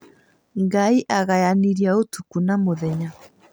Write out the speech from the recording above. Ngai agayanirie ũtukũ na mũthenya